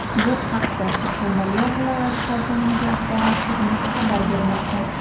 Bu haqda Surxondaryo viloyati hokimligi axborot xizmati xabar bermoqda .